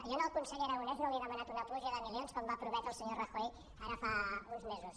jo al conseller aragonès no li he demanat una pluja de milions com va prometre el senyor rajoy ara fa uns mesos